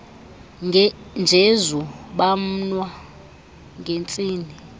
njezu bamwa ngentsini